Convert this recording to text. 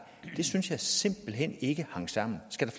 synes jeg simpelt hen ikke hang sammen skal